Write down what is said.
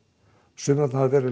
sumir hafa verið